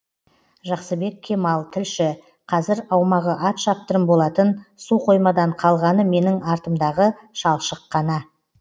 жақсыбек кемал тілші қазір аумағы ат шаптырым болатын су қоймадан қалғаны менің артымдағы шалшық қана